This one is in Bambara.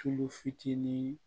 Tulu fitinin